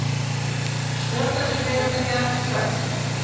Stjórnendur fyrirtækja svartsýnir